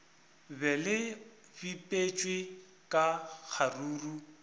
be le bipetšwe ka kgaruru